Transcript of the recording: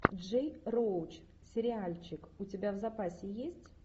джей роуч сериальчик у тебя в запасе есть